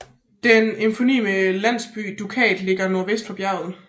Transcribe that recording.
Den eponyme landsby Dukat ligger nordvest for bjerget